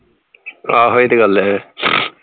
ਆਹੋ ਏ ਤੇ ਗੱਲ ਹੈ